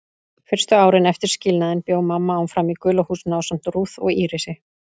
Fyrstu árin eftir skilnaðinn bjó mamma áfram í gula húsinu ásamt Ruth og Írisi.